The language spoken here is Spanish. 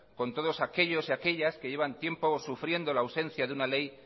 con todos aquellos y aquellas que llevan tiempo sufriendo la ausencia de una ley